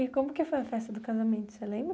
E como que foi a festa do casamento, você lembra?